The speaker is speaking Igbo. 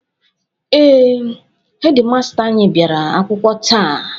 Ee, hedi masta anyị bịara akwụkwọ taa.